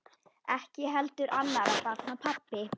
Ekki heldur annarra barna pabbi.